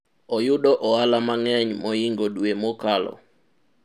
oyudo ohala mang'eny mohingo dwe mokalo